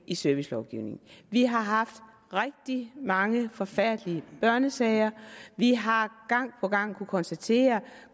i servicelovgivningen vi har haft rigtig mange forfærdelige børnesager vi har gang på gang kunnet konstatere at